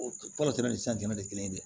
Tɔɔrɔ tɛmɛ ni sisan tɛmɛn tɛ kelen ye dɛ